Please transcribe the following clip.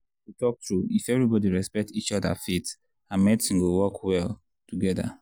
to talk true if everybody respect each other faith and medicine go work well together.